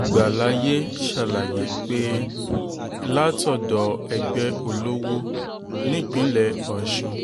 ìgbàlàyé ṣàlàyé pé látọ̀dọ̀ ẹgbẹ́ olówó nípínlẹ̀ ọ̀sùn